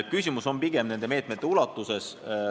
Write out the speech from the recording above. Küsimus on pigem nende meetmete ulatuses.